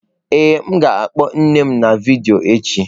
Ee, m ga-akpo nne m na vidiyo echi.